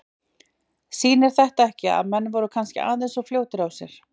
Sýnir þetta ekki að menn voru kannski aðeins of fljótir á sér?